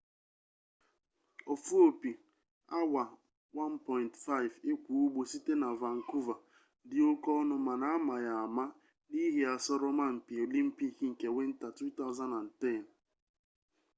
ofu-opi awa 1.5 ikwa-ugbo site na vancouver di oke-onu mana ama ya ama n’ihi asoroma-mpi olimpic nke winta 2010